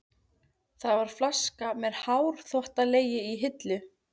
Það var flaska með hárþvottalegi í hillu.